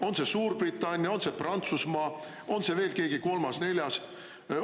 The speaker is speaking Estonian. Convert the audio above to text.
On see Suurbritannia, on see Prantsusmaa, on see veel keegi kolmas-neljas?